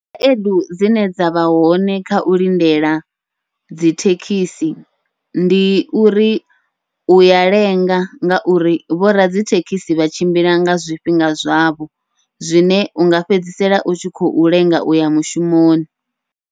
Khaedu dzine dzavha hone kha u lindela dzi thekhisi, ndi uri uya lenga ngauri vhoradzithekhisi vha tshimbila nga zwifhinga zwavho, zwine unga fhedzisela u tshi khou lenga uya mushumoni.